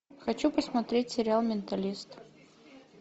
хочу посмотреть сериал менталист